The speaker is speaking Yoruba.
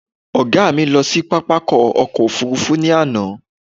Ọ̀gá mi lọ sí pápákọ̀ ọkọ̀ òfurufú ní àná